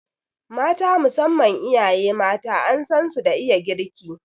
Mata, musamman iyaye mata an san su da iya girki